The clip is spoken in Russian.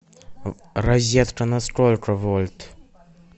розетка на сколько вольт